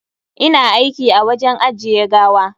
Ina aiki a wajen ajiye gawa.